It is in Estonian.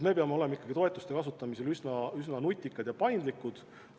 Me peame toetuste kasutamisel olema nutikad ja paindlikud.